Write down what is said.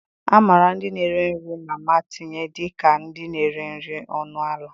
A mara ndị na-ere nri mama tinye dịka ndị na-ere nri ọnụ ala.